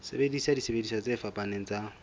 sebedisa disebediswa tse fapaneng tsa